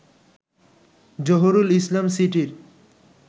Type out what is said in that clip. জহুরুল ইসলাম সিটির